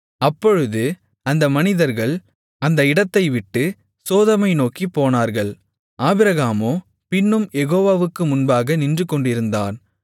அப்பொழுது அந்த மனிதர்கள் அந்த இடத்தைவிட்டு சோதோமை நோக்கிப் போனார்கள் ஆபிரகாமோ பின்னும் யெகோவாவுக்கு முன்பாக நின்றுகொண்டிருந்தான்